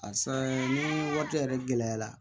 A saan ni waati yɛrɛ gɛlɛyara